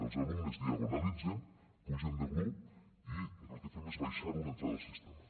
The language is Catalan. els alumnes diagonalitzen pugen de grup i el que fem és baixar una entrada al sistema